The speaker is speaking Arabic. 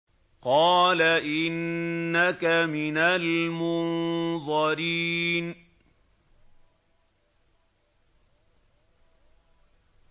قَالَ إِنَّكَ مِنَ الْمُنظَرِينَ